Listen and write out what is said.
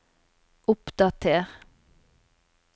oppdater